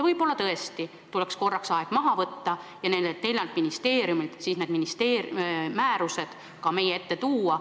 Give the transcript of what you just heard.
Võib-olla tõesti tuleks aeg maha võtta ja nende nelja ministeeriumi määrusekavandid ka meie ette tuua.